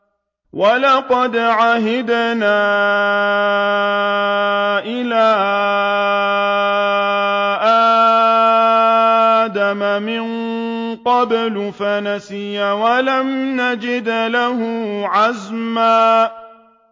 وَلَقَدْ عَهِدْنَا إِلَىٰ آدَمَ مِن قَبْلُ فَنَسِيَ وَلَمْ نَجِدْ لَهُ عَزْمًا